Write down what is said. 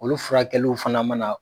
Olu furakɛliw fana ma na